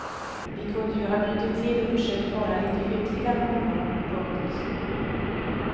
Vi kunde ju ha bjudit till och försökt vara lite hyggliga någon gång. punkt